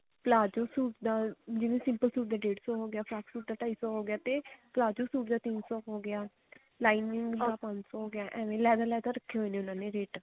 palazzo suit ਦਾ ਜਿਵੇਂ simple suit ਦਾ ਡੇੜ ਸੋ ਹੋਗਿਆ ਫਰਾਕ ਸੂਟ ਦਾ ਢਾਈ ਸੋ ਹੋਗਿਆ ਤੇ ਪ੍ਲਾਜੋ ਸੂਟ ਦਾ ਤਿੰਨ ਸੋ ਹੋਗਿਆ lining ਦਾ ਪੰਜ ਸੋ ਹੋਗਿਆ ਏਵੇਂ ਲੇਦਾ ਲੇਦਾ ਰੱਖੇ ਹੋਏ ਨੇ